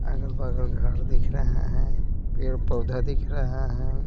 आगल बागल घर दिख रहै है पेड़ पौधा दिख रहै है।